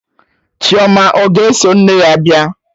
Chioma ọ ga-eso nne ya bịa?